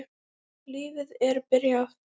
Lífið er byrjað.